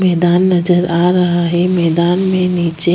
मैदान नजर आ रहा है मैदान मे नीचे --